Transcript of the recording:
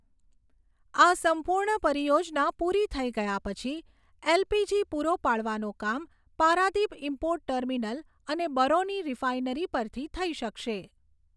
આ સંપૂર્ણ પરિયોજના પૂરી થઈ ગયા પછી, એલપીજી પૂરો પાડવાનું કામ પારાદીપ ઇમ્પોર્ટ ટર્મિનલ અને બરૌની રિફાઇનરી પરથી શઈ શકશે.